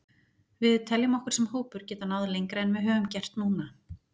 Við teljum okkur sem hópur geta náð lengra en við höfum gert núna.